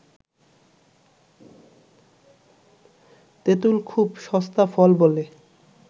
তেঁতুল খুব সস্তা ফল বলে